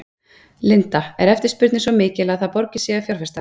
Linda: Er eftirspurnin svo mikil að það borgi sig að fjárfesta?